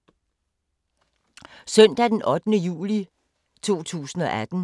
Søndag d. 8. juli 2018